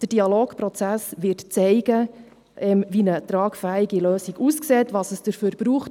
Der Dialogprozess wird zeigen, wie eine tragfähige Lösung aussieht, was es dafür braucht.